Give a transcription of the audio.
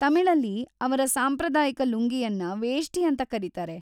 ತಮಿಳಲ್ಲಿ ಅವರ ಸಾಂಪ್ರದಾಯಿಕ ಲುಂಗಿಯನ್ನ ವೇಷ್ಟಿ ಅಂತ ಕರೀತಾರೆ.